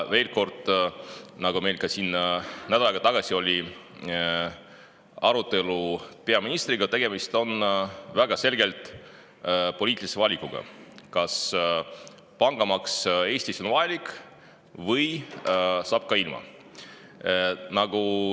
Veel kord: nagu selgus nädal aega tagasi siin toimunud arutelus peaministriga, tegemist on väga selgelt poliitilise valikuga: kas pangamaks Eestis on vajalik või saab ka ilma.